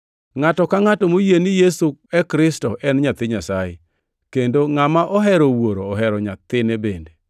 Ngʼato ka ngʼato moyie ni Yesu e Kristo en nyathi Nyasaye, kendo ngʼama ohero Wuoro ohero nyathine bende.